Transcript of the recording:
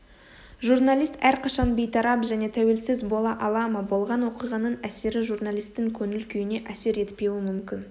журналист әрқашан бейтарап және тәуелсіз бола ала ма болған оқиғаның әсері журналистің көңіл-күйіне әсер етпеуі мүмкін